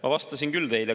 Ma vastasin küll teile.